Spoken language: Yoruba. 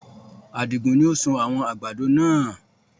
Adé ni ó sun àwọn àgbàdo náà